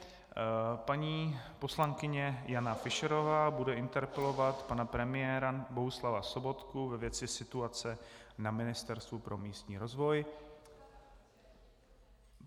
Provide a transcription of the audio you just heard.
Paní poslankyně Jana Fischerová bude interpelovat pana premiéra Bohuslava Sobotku ve věci situace na Ministerstvu pro místní rozvoj.